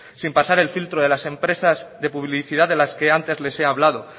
sin pasar el filtro de las empresas de publicidad de las que antes he hablado